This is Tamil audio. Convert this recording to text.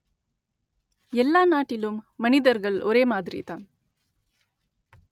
எல்லா நாட்டிலும் மனிதர்கள் ஒரே மாதிரிதான்